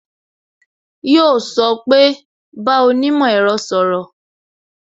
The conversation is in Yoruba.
Yo sọ pé "bá onímò ẹ̀rọ sọ̀rọ̀